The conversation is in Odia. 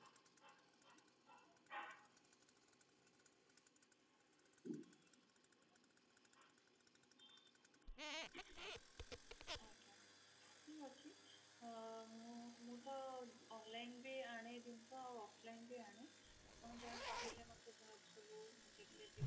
ମୁଁ ତ online ବି ଆଣେ ଜିନିଷ ଆଉ offline ବି ଆଣେ ଆପଣ ଯାହା କହିବେ ମତେ